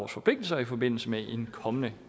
forpligtelser i forbindelse med en kommende